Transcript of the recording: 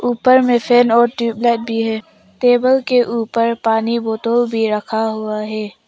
ऊपर में फैन और ट्यूब लाइट भी है टेबल के ऊपर पानी बॉटल भी रखा हुआ है।